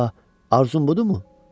Ah, arzun budurmu?